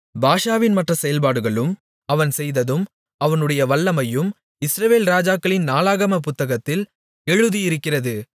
பாஷாவின் மற்ற செயல்பாடுகளும் அவன் செய்ததும் அவனுடைய வல்லமையும் இஸ்ரவேல் ராஜாக்களின் நாளாகமப் புத்தகத்தில் எழுதியிருக்கிறது